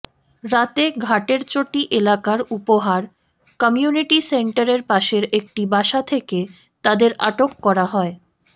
রাতে ঘাটেরচটি এলাকার উপহার কমিউনিটি সেন্টারের পাশের একটি বাসা থেকে তাদের আটক করা হয়